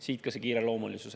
Siit ka see kiireloomulisus.